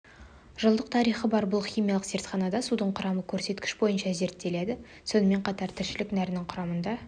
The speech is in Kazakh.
жылдық тарихы бар бұл химиялық зертханада судың құрамы көрсеткіш бойынша зерттеледі сонымен қатар тіршілік нәрінің құрамында